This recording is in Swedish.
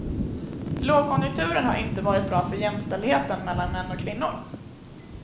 Lågkonjunkturen har inte varit bra för jämställdheten mellan män och kvinnor.